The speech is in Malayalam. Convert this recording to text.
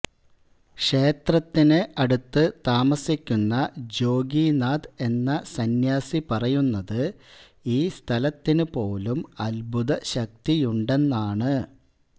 ക്ഷേത്രത്തിന് അടുത്ത് താമസിക്കുന്ന ജോഗിനാഥ് എന്ന സന്യാസി പറയുന്നത് ഈ സ്ഥലത്തിന് പോലും അത്ഭുത ശക്തിയുണ്ടെന്നാണ്